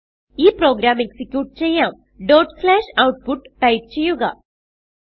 ഈ programme execute ചെയ്യാം output type ചെയ്യുക